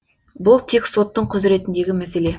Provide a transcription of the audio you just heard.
бұл тек соттың құзыретіндегі мәселе